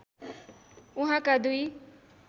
उहाँका दुई